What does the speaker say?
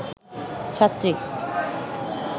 ছাত্রী